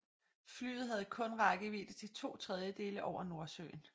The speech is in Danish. Flyet havde kun rækkevidde til to tredjedele over Nordsøen